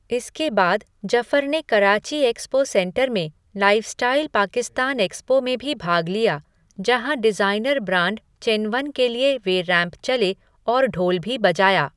इसके बाद जफर ने कराची एक्सपो सेंटर में लाइफ़स्टाइल पाकिस्तान एक्सपो में भी भाग लिया, जहाँ डिज़ाइनर ब्रांड चेनवन के लिए वे रैंप चले और ढोल भी बजाया।